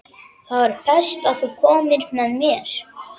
Þá er best að þú komir með mér.